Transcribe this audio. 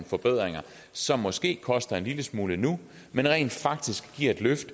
forbedringer som måske koster en lille smule nu men rent faktisk giver et løft